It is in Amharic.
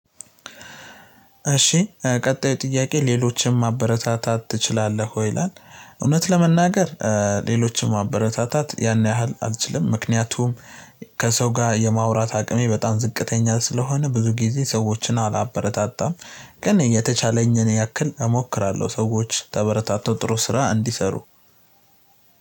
እሺ ቀጣዩ ጥያቄ "ሌሎችንም ማበረታታት ትችላለህ ወይ?" ይላል፣ እውነት ለመናገር ሌሎችን ማበረታታት ያን ያህል አልችልም። ምክንያቱም ከሰው ጋር የማውራት አቅሜ በጣም ዝቅተኛ ስለሆነ፤ ብዙ ጊዜ ሰዎችን አላበረታታም። ግን የተቻለኝን ያክል እሞክራለው። ሰዎች ተበረታተው ጥሩ ስራ እንዲሰሩ